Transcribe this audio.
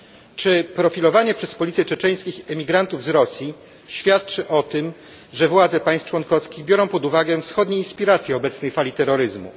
Czy profilowanie przez policję czeczeńskich emigrantów z Rosji świadczy o tym, że władze państw członkowskich biorą pod uwagę wschodnie inspiracje obecnej fali terroryzmu?